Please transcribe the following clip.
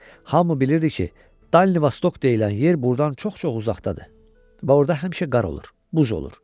Hamı bilirdi ki, Dalnivostok deyilən yer buradan çox-çox uzaqdadır və orada həmişə qar olur, buz olur.